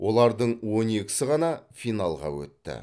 олардың он екісі ғана финалға өтті